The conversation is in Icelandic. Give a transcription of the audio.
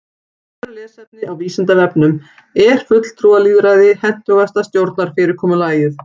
Frekara lesefni á Vísindavefnum Er fulltrúalýðræði hentugasta stjórnarfyrirkomulagið?